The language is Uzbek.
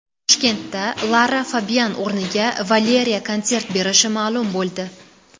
Toshkentda Lara Fabian o‘rniga Valeriya konsert berishi ma’lum bo‘ldi.